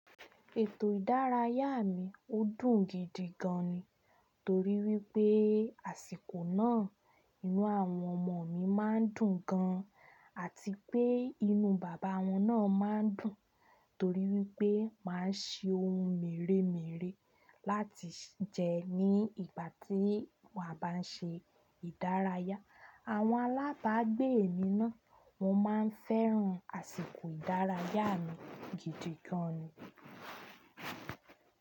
Ètò ìdárayá mi ó dùn gidi gan ni, torí wípé àsìkò náà inú àwọn ọmọ mi máa ń dùn gan, àti pé inú bàbá wọn náà máa ń dùn torí wípé máa ń se oun mèremère láti jẹ ní ìgbà tí wà bá n ṣe ìdárayá. Àwọn alábàágbé mi náà wọ́n máa ń fẹ́ran àsìkò ìdárayá mi gidi gan ni.